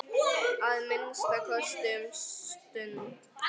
Að minnsta kosti um stund.